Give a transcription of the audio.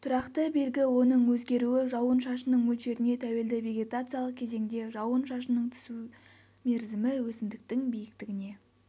тұрақты белгі оның өзгеруі жауын-шашынның мөлшеріне тәуелді вегетациялық кезеңде жауын шашынның түсу мерзімі өсімдіктің биіктігіне